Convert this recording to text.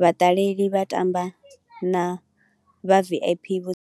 vhaṱaleli vha tamba na vha V_I_P vho.